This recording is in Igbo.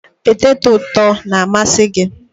Peteto ụtọ na-amasị gị?